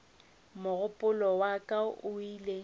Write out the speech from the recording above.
mogopolo wa ka o ile